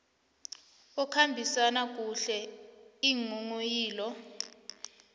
okhambisa kuhle iinghonghoyilo